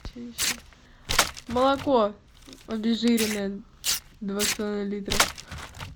молоко обезжиренное два с половиной литра